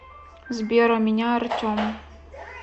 сбер а меня артем